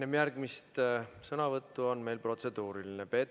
Enne järgmist sõnavõttu on meil protseduuriline küsimus.